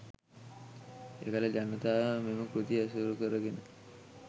එකල ජනතාව මෙම කෘති ඇසුරුකරගෙන